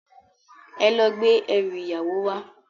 Èlò gbé èrú iyáwó wá